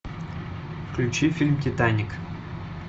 включи фильм титаник